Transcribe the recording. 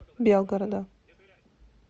белгорода